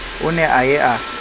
o ne a ye a